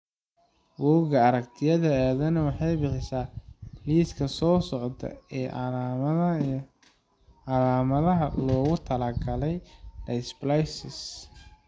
Bugga Aragtiyaha Aadanaha waxay bixisaa liiska soo socda ee calaamadaha iyo calaamadaha loogu talagalay dysplasia Cleidocranialka.